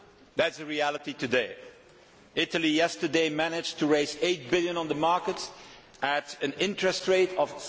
That is the reality today. Italy yesterday managed to raise EUR 8 billion on the markets at an interest rate of